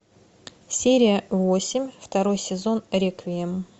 серия восемь второй сезон реквием